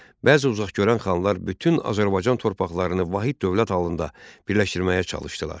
Bəzi uzaqgörən xanlar bütün Azərbaycan torpaqlarını vahid dövlət halında birləşdirməyə çalışdılar.